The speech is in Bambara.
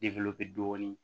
dɔɔnin